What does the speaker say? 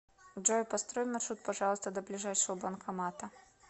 джой построй маршрут пожалуйста до ближайшего банкомата